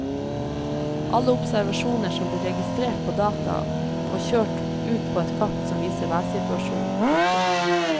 Alle observasjoner blir registrert på data og kjørt ut på et kart som viser værsituasjonen. punktum